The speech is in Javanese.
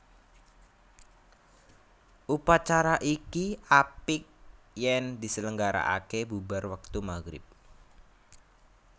Upacara iki apik yèn diselenggara ake bubar wektu maghrib